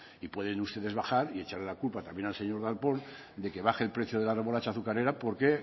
y pueden ustedes bajar y echarle la culpa también al señor darpón de que baje el precio de la remolacha azucarera porque